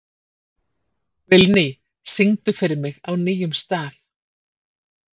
Vilný, syngdu fyrir mig „Á nýjum stað“.